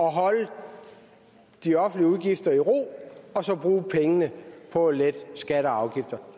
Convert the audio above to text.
holde de offentlige udgifter i ro og så bruge pengene på at lette skatter og afgifter